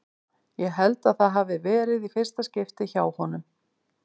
Ég held að það hafi verið í fyrsta skipti hjá honum.